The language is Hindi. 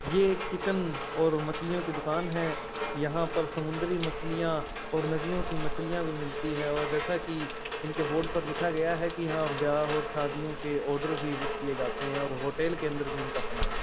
ये ऐक चिकन और मछलीयों की दुकान है यहां पर सुमंद्री मछलीया और नदीयों की मछलीयां भी मिलती है और जेसा की इनके बोर्ड पर लिखा गया है की यहां पर ब्याह और शादीयों के ऑर्डर भी बुक किये जाते है और होटल के अंदर भी इनका सामान जाता है।